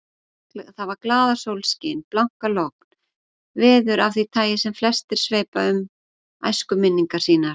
Það var glaðasólskin, blankalogn, veður af því tagi sem flestir sveipa um æskuminningar sínar.